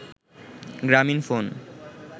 Gramin phone